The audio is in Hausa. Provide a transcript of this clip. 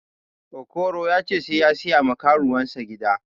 Okoro ya ce sai siya ma karuwansa gida